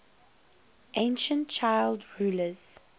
ancient child rulers